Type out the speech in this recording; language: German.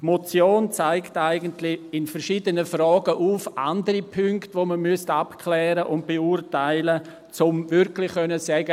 Die Motion zeigt eigentlich in verschiedenen Fragen andere Punkte auf, die man abklären und beurteilen müsste, um wirklich sagen zu können: